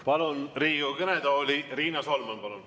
Palun Riigikogu kõnetooli, Riina Solman!